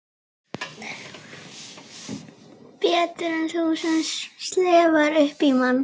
Betur en þú sem slefar upp í mann.